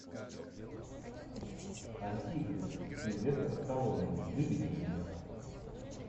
антихрист сильвестр сталлоне выведи мне